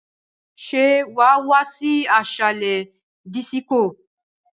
Ṣé wàá wá sí ásàlè dísíkò?